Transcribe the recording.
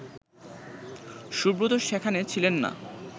সুব্রত সেখানে ছিলেন না